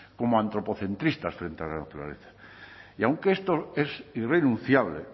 como antropocentristas frente a la naturaleza y aunque esto es irrenunciable